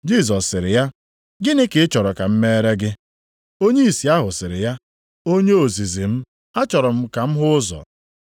Jisọs sịrị ya, “Gịnị ka ị chọrọ ka m meere gị?” Onye ìsì ahụ sịrị ya, “Onye ozizi m, achọrọ m ka m hụ ụzọ.”